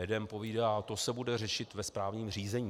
Jeden povídá: To se bude řešit ve správním řízení.